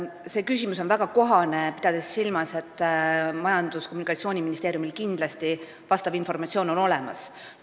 See küsimus on väga kohane, kuna Majandus- ja Kommunikatsiooniministeeriumil on kindlasti selle kohta informatsioon olemas.